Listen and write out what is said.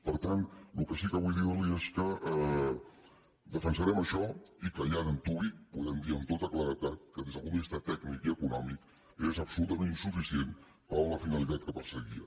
per tant el que sí que vull dir li és que defensarem això i que ja d’antuvi podem dir amb tota claredat que des del punt de vista tècnic i econòmic és absolutament insuficient per a la finalitat que perseguia